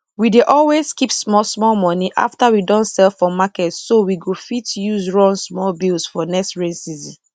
we dey always keep small small money after we don sell for marketso we go fit use run some bills for next rain season